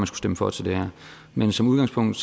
stemme for til det her men som udgangspunkt